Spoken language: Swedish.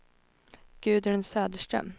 Gudrun Söderström